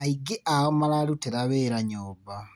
Aingĩ ao mararutĩra wĩra nyũmba.